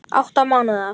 Átta mánaða